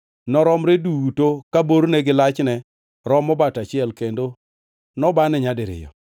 Noromre duto ka borne gi lachne romo bat achiel kendo nobane nyadiriyo.